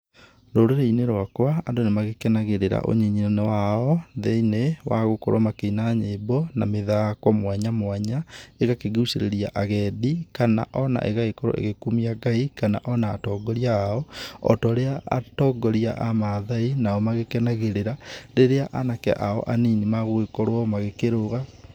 Rũrĩrĩ-inĩ rũakua, andũ nĩmagĩkenagĩrĩra ũnyini-inĩ wao, thĩiniĩ, wagũkorũo makĩina nyĩmbo na mĩthako mwanya mwanya, ĩgakĩgucĩrĩria agendi, kana ona ĩgagĩkorũo ĩgĩkumia Ngai, kana ona atongoria ao, otaũrĩa atongoria a maathai onao magĩkenagĩrĩra, rĩrĩa anake ao anini magũgĩkorũo magĩkĩrũga.